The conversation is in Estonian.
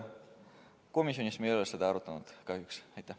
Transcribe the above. Komisjonis me ei ole seda kahjuks arutanud.